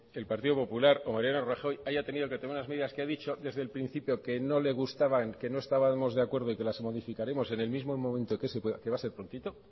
el partido popular o mariano rajoy haya tenido que tomar unas medidas que ha dicho desde principio que no le gustaban que no estábamos de acuerdo y que las modificaremos en el mismo momento que se pueda que va a ser prontito